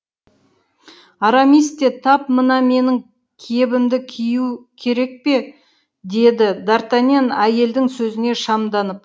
арамис те тап мына менің кебімді кию керек пе деді д артаньян әйелдің сөзіне шамданып